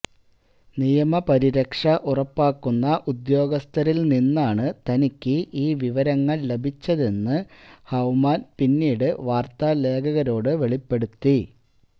നിയമപരിരക്ഷ ഉറപ്പാക്കുന്ന ഉദ്യോഗസ്ഥരില് നിന്നാണ് തനിക്ക് ഈ വിവരങ്ങള് ലഭിച്ചതെന്ന് ഹൌമാന് പിന്നീട് വാര്ത്താ ലേഖകരോട് വെളിപ്പെടുത്തി